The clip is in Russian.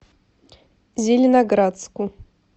зеленоградску